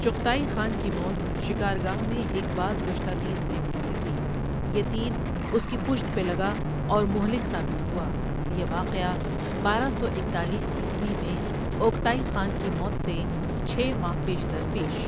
Chughtai Khan کی موت شکارگاہ میں ایک بازگشتہ تیر پینکنے سے ہوئی یہ تیر اس کی پشت پہ لگا اور مہلک ثابت ہوا یہ واقعہ بارہ سو اکتالیس عیسوی میں اوکتائ خان کی موت سے چھ ماہ پیشتر پیش۔